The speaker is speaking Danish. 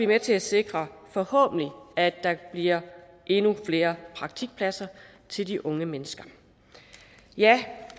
med til at sikre forhåbentlig at der bliver endnu flere praktikpladser til de unge mennesker